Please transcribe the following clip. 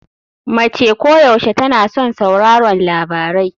Mace koyaushe tana son sauraron labarai.